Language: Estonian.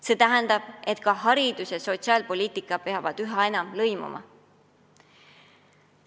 See tähendab, et haridus ja sotsiaalpoliitika peavad üha enam lõimuma.